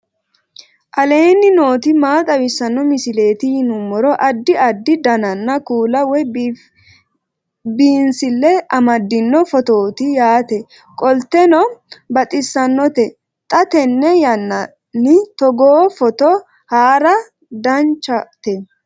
aleenni nooti maa xawisanno misileeti yinummoro addi addi dananna kuula woy biinsille amaddino footooti yaate qoltenno baxissannote xa tenne yannanni togoo footo haara danvchate